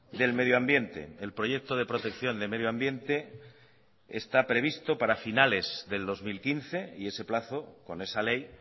del medio ambiente el proyecto de protección de medio ambiente está previsto para finales del dos mil quince y ese plazo con esa ley